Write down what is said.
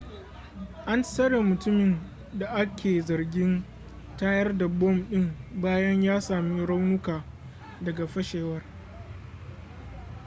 an tsare mutumin da a ke zargin tayar da bom ɗin bayan ya sami raunuka daga fashewar